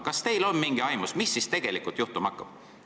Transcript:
Kas teil on mingit aimust, mis siis tegelikult juhtuma hakkab?